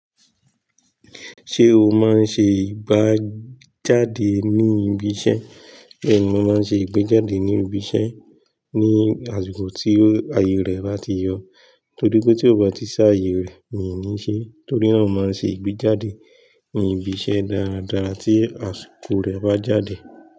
Ṣé o máa ń ṣe ìgbá jáde ní ibi iṣẹ́? Bẹ́ẹ̀ni, mo máa ń ṣe ìgbéjáde ní ibi iṣẹ́ ní àsìkò tí ayé rẹ̀ bá ti yọ. Torí pé tí ó bá ti sá ayé rẹ̀, mi ní ṣe é. Torí náà, mo máa ń ṣe ìgbéjáde ní ibi iṣẹ́ dáradára tí àsìkò rẹ̀ bá jáde.